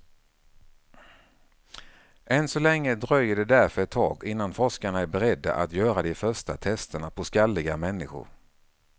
Än så länge dröjer det därför ett tag innan forskarna är beredda att göra de första testerna på skalliga människor.